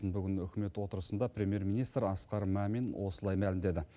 бүгін үкімет отырысында премьер министр асқар мамин осылай мәлімдеді